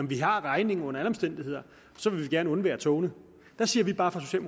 vi har regningen under alle omstændigheder så vi vil gerne undvære togene der siger vi bare